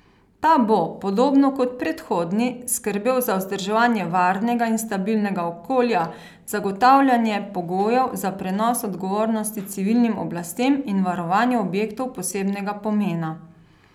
Ta bo, podobno kot predhodni, skrbel za vzdrževanje varnega in stabilnega okolja, zagotavljanje pogojev za prenos odgovornosti civilnim oblastem in varovanje objektov posebnega pomena.